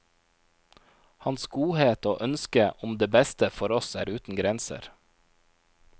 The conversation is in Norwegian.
Hans godhet og ønske om det beste for oss er uten grenser.